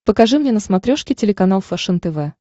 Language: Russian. покажи мне на смотрешке телеканал фэшен тв